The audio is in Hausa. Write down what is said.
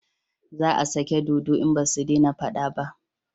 Za a sake dodo in basu dena fada ba